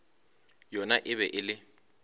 yona e be e le